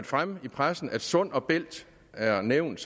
fremme i pressen at sund bælt er nævnt